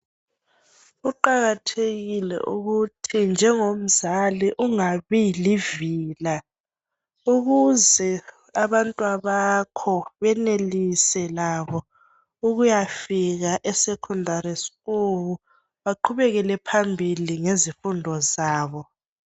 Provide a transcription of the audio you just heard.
kuqakathekile ukuthi njengomzali ungabi livila ukuze abantwabakho benelise labo ukuyafika e sekhondali sikulu baqhubekele phambili ngezimfundo zabo